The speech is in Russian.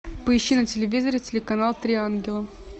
поищи на телевизоре телеканал три ангела